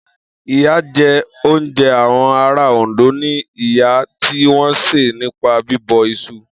Iyán jẹ́ oúnjẹ àwọn ará Òndó ni iyán tí wọ́n sè nípa bíbọ̀ iṣu.